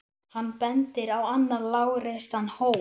Hann bendir á annan lágreistan hól.